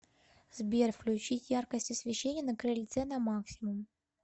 сбер включить яркость освещения на крыльце на максимум